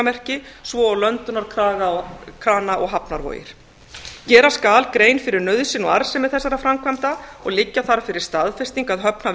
innsiglingamerki svo og löndunarkrana og hafnarvogir gera skal grein fyrir nauðsyn og arðsemi þessara framkvæmda og liggja þarf fyrir staðfesting að höfn